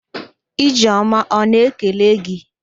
Ijeọma ọ na-ekele gị??